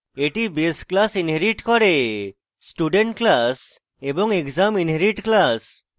এটি base classes inherit করেstudent classes এবং exam আন্ডারস্কোর inherit classes